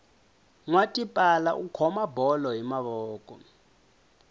nwa tipala u khoma bolo hi mavoko